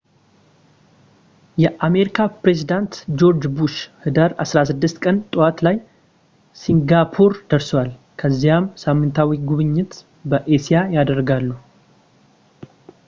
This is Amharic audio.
የአሜሪካ ፕሬዚዳንት ጆርጅ ቡሽ ህዳር 16 ቀን ጠዋት ላይ ሲንጋፖር ደርሰዋል ከዚያም ሳምንታዊ ጉብኝት በእስያ አደረጉ